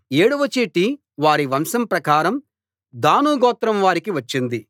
ఏడవ చీటి వారి వంశం ప్రకారం దాను గోత్రం వారికి వచ్చింది